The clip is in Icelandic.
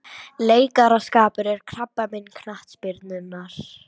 Leikaraskapur er krabbamein knattspyrnunnar